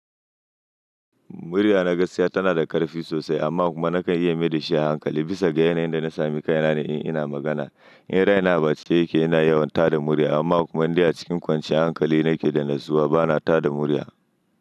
Murya na gaskiya tana da ƙarfi sosai amma kuma nakan iya mai da shi a hankali bisa ga yanayin da na sami kai na ne in ina magana. In raina ba cike yake ina yawan tada murya amma kuma dai a cikin kwanciyar hankali nake da na zuwa bana tada murya.